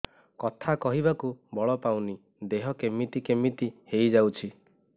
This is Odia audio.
କଥା କହିବାକୁ ବଳ ପାଉନି ଦେହ କେମିତି କେମିତି ହେଇଯାଉଛି